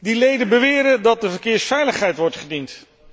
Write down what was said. Die leden beweren dat de verkeersveiligheid wordt gediend.